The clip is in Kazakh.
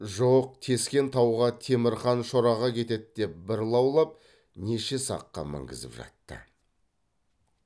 жоқ тескен тауға темірқан шораға кетеді деп бір лаулап неше саққа мінгізіп жатты